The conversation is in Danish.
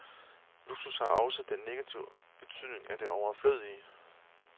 Luksus har også den negative betydning af det overflødige.